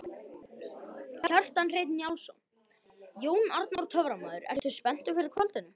Kjartan Hreinn Njálsson: Jón Arnór töframaður, ertu spenntur fyrir kvöldinu?